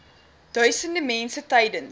duisende mense tydens